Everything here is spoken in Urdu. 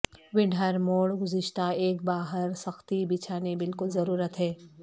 ونڈ ہر موڑ گزشتہ ایک باہر سختی بچھانے بالکل ضرورت ہے